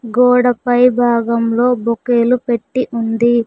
గోడపై భాగంలో బొకే లు పెట్టి ఉంది.